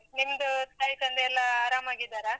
ನಿಮ್ದು, ತಾಯಿ ತಂದೆ ಎಲ್ಲ ಆರಾಮಾಗಿದ್ದಾರಾ?